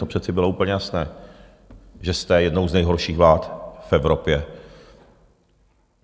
To přece bylo úplně jasné, že jste jednou z nejhorších vlád v Evropě.